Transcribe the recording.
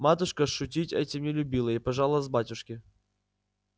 матушка шутить этим не любила и пожаловалась батюшке